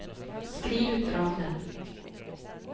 skriv ut rammen